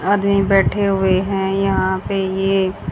आदमी बैठे हुए हैं यहां पे ये--